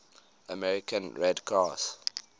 american red cross